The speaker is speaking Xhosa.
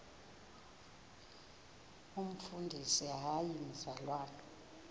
umfundisi hayi mzalwana